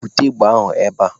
Bute égbè ahụ ebe a!